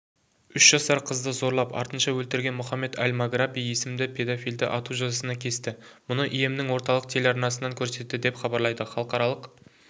үш жасар қызды зорлап артынша өлтірген мұхаммед аль-маграби есімді педофилді ату жазасына кесті мұны йеменнің орталық телеарнасынан көрсетті деп хабарлайды халықаралық